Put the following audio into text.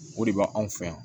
O de b'anw fɛ yan